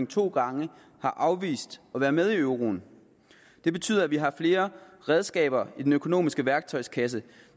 to gange afvist at være med i euroen det betyder at vi har flere redskaber i den økonomiske værktøjskasse